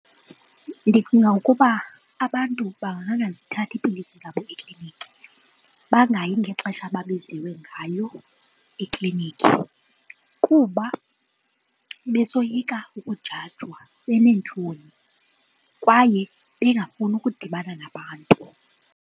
Ndicinga ukuba abantu bangangazithathi iipilisi zabo ekliniki, bangayi ngexesha ababiziwe ngayo eklinikhi kuba besoyika ukujajwa beneentloni kwaye bengafuni ukudibana nabantu.